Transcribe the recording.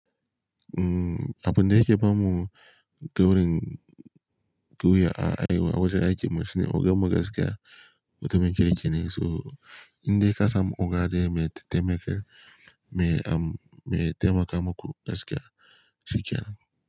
Abun da yake bamu gurin gwiya a aiwa wajen aikin mu shine ogan mu gaskiya wato mai kirki ne. So in dai ka samu oga daya mai taimakar, mai am, mai taimaka maku gaskiya, shikenan.